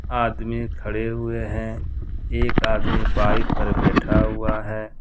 आदमी खड़े हुए हैं एक आदमी बाइक पर बैठा हुआ है।